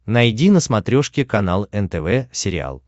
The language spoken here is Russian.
найди на смотрешке канал нтв сериал